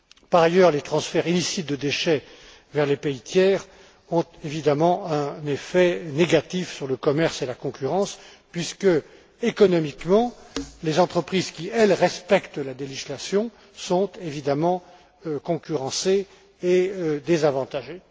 Par ailleurs, les transferts illicites de déchets vers les pays tiers ont, évidemment, un effet négatif sur le commerce et la concurrence puisque, économiquement, les entreprises qui respectent la législation sont évidemment concurrencées et désavantagées.